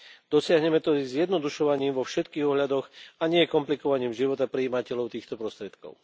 Dosiahneme to zjednodušovaním vo všetkých ohľadoch, a nie komplikovaním života prijímateľov týchto prostriedkov.